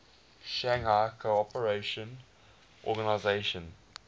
shanghai cooperation organization